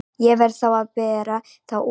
Ég verð þá að bera þá út.